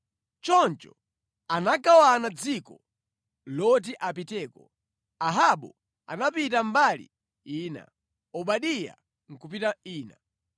Choncho anagawana dziko loti apiteko, Ahabu anapita mbali ina, Obadiya nʼkupita ina.